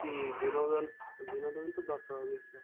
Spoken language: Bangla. জি বিনোদন বিনোদন তো দরকার obviously